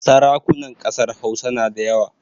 Sarakunan ƙasar Hausa na da yawa